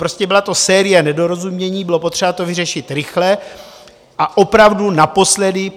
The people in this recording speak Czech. Prostě byla to série nedorozumění, bylo potřeba to vyřešit rychle a opravdu naposledy.